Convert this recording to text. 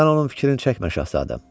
Sən onun fikrini çəkmə şahzadəm.